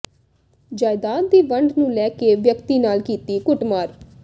ਜਾਇਦਾਦ ਦੀ ਵੰਡ ਨੂੰ ਲੈ ਕੇ ਵਿਅਕਤੀ ਨਾਲ ਕੀਤੀ ਕੁੱਟਮਾਰ